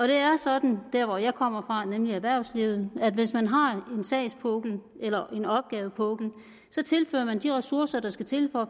det er sådan der hvor jeg kommer fra nemlig erhvervslivet at hvis man har en sagspukkel eller en opgavepukkel tilfører man de ressourcer der skal til for